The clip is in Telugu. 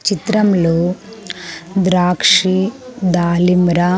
చిత్రంలో ద్రాక్షి దాలింర.